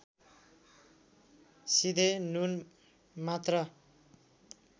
सिधे नुन मात्र